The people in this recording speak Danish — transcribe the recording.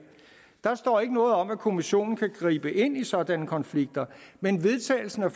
der står ikke noget om at kommissionen kan gribe ind i sådanne konflikter men vedtagelsen af